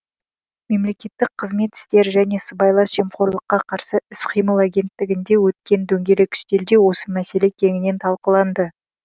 мемлекеттік қызмет істері және сыбайлас жемқорлыққа қарсы іс қимыл агенттігінде өткен дөңгелек үстелде осы мәселе кеңінен талқыланды